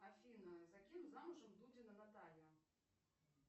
афина за кем замужем дудина наталья